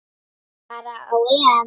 fara á EM.